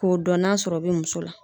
K'o dɔn n'a sɔrɔ o be muso la.